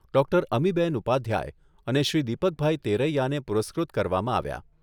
Doctor અમીબહેન ઉપાધ્યાય અને શ્રી દીપકભાઈ તેરૈયાને પુરસ્કૃત કરવામાં આવ્યા.